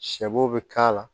Sɛbo bɛ k'a la